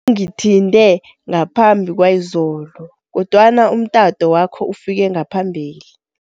Ungithinte ngaphambi kwayizolo kodwana umtato wakho ufike ngaphambili.